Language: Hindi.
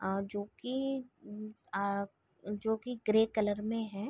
अ जो की अ जो की ग्रे कलर में है।